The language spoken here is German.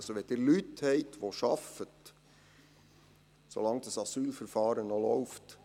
Wenn Leute arbeiten, dann ist dies okay, so lange das Asylverfahren noch läuft.